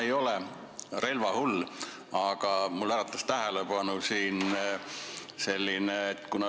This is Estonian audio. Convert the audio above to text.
Ma ei ole relvahull, aga minu tähelepanu äratas selline asi.